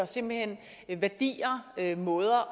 simpelt hen værdier måder at